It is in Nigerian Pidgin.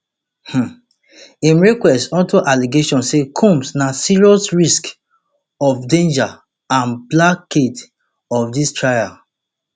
um im request unto allegation say combs na serious risks of danger and blockade of dis trial